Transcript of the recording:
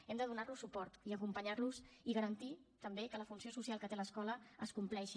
hem de donar los suport i acompanyar los i garantir també que la funció social que té l’escola es compleixi